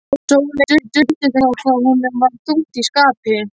Sóleyju duldist ekki hvað honum var þungt í skapi.